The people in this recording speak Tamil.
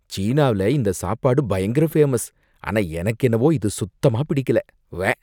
சீனாவுல இந்த சாப்பாடு பயங்கர ஃபேமஸ், ஆனா எனக்கு என்னவோ இது சுத்தமா பிடிக்கல. உவ்வே!